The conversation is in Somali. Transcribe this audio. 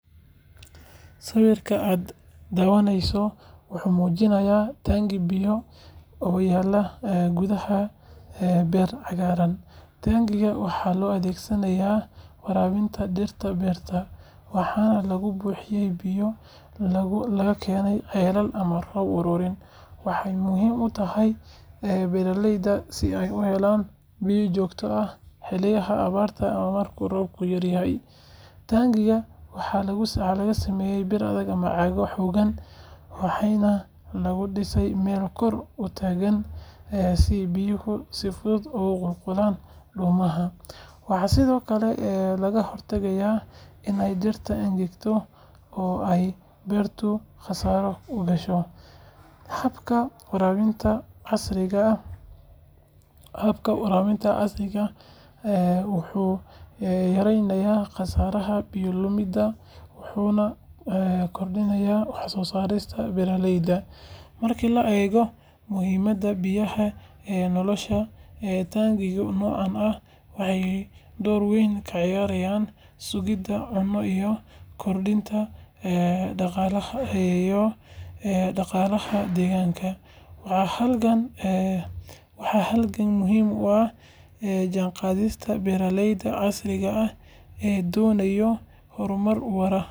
Sawirka aad daawaneyso wuxuu muujinayaa taangi biyo oo yaalla gudaha beer cagaaran. Taangigan waxaa loo adeegsadaa waraabinta dhirta beerta, waxaana lagu buuxiyaa biyo laga keeno ceelal ama roob ururin. Waxay muhiim u tahay beeraleyda si ay u helaan biyo joogto ah xilliyada abaarta ama marka roobku yaryahay. Taangiga waxaa laga sameeyay bir adag ama caag xooggan, waxaana lagu dhisaa meel kor u taagan si biyuhu si fudud ugu qulqulaan dhuumaha. Waxaa sidoo kale lagaga hortagaa inay dhirta engegaan oo ay beertu khasaaro u gasho. Habkan waraabinta casriga ah wuxuu yaraynayaa khasaaraha biyo lumidda, wuxuuna kordhinayaa waxsoosaarka beeraleyda. Marka la eego muhiimadda biyaha ee nolosha, taangiyada noocan ah waxay door weyn ka ciyaaraan sugidda cunno iyo koritaanka dhaqaalaha deegaanka. Waa halbeeg muhiim ah oo la jaanqaadaya beeralayda casriga ah ee doonaya horumar waara.